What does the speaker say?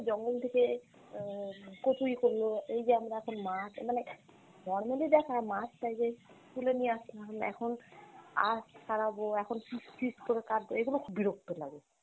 জঙ্গল থেকে আহ কচুরী করলো, এই যে আমরা এখন মাছ মানে normally দেখা মাছ টা যে তুলে নিয়ে আসলাম, এখন আঁশ ছাড়াবো, এখন piece piece করে কাটবো এইগুলা খুব বিরক্ত লাগে।